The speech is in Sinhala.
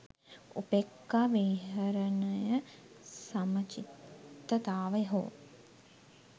උපේක්‍ඛා විහරණයසමචිත්තතාව හෝ